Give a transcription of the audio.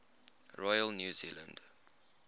royal new zealand